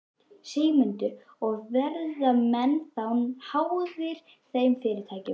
Sigmundur: Og verða menn þá háðir þeim fyrirtækjum?